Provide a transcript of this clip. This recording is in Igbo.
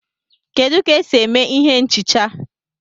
kedu ka e si eme ihé nchicha?